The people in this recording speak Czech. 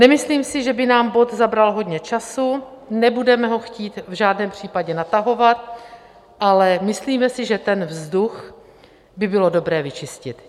Nemyslím si, že by nám bod zabral hodně času, nebudeme ho chtít v žádném případě natahovat, ale myslíme si, že ten vzduch by bylo dobré vyčistit.